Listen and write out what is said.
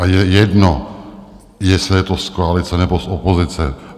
A je jedno, jestli je to z koalice, nebo z opozice.